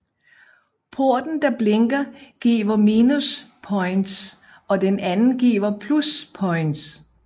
Porten der blinker giver minuspoints og den anden giver pluspoints